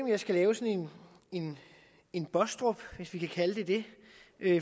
jeg skal lave sådan en en baastrup hvis vi kan kalde det det